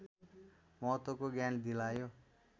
महत्त्वको ज्ञान दिलायो